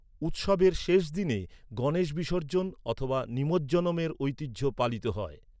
উৎসবের শেষ দিনে গণেশ বিসর্জন অথবা নিমজ্জনমের ঐতিহ্য পালিত হয়।